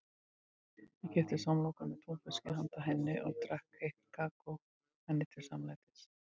Hann keypti samloku með túnfiski handa henni og drakk heitt kakó henni til samlætis.